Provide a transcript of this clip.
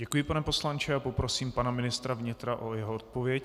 Děkuji, pane poslanče, a poprosím pana ministra vnitra o jeho odpověď.